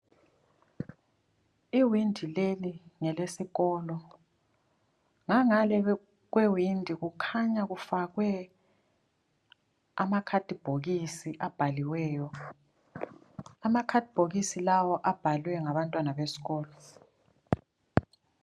Iwindi leli ngelesikolo ngangale kwewindi kukhanya kufakwe amakhathibhokisi abhaliweyo, amakhathibhokisi lawa abhalwe ngabantwana besikolo.